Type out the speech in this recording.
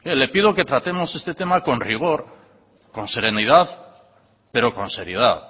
le pido que tratemos este tema con rigor con serenidad pero con seriedad